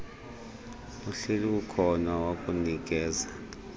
uhleli ukhona wokunikeza